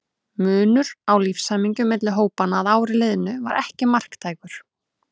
Munur á lífshamingju milli hópanna að ári liðnu var ekki marktækur.